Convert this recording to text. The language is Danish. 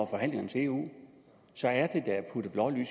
forhandlingerne til eu så er det da at putte blår i